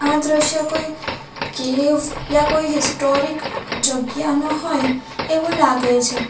આ દ્રશ્ય કોઈ કૅવ યા કોઈ હિસ્ટોરિક જગ્યાનું હોય એવુ લાગે છે.